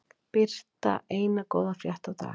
Birta eina góða frétt á dag